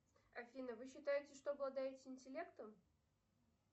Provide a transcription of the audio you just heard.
афина вы считаете что обладаете интеллектом